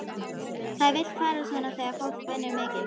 Það vill fara svona þegar fólk vinnur mikið.